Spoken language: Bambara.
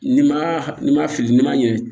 N'i ma n'i ma fili n'i ma ɲɛ